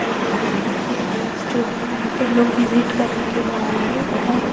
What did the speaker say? दे रहे हैं ये प्लेस जो है यहां पे लोग विजिट करने के लिए आए हैं और यहाँ--